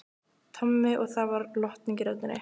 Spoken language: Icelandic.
Tommi og það var lotning í röddinni.